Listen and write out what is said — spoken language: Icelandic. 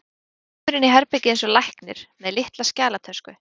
Hann kemur inn í herbergið eins og læknir, með litla skjalatösku.